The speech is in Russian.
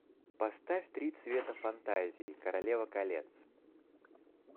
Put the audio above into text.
поставь три цвета фантазии королева колец